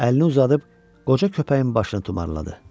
Əlini uzadıb qoca köpəyin başını tumarladı.